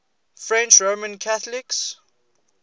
french roman catholics